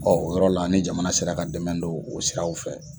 o yɔrɔ la ni jamana sera ka dɛmɛ don o siraw fɛ